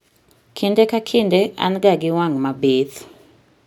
Kinde ka kinde an ga gi wang' mabith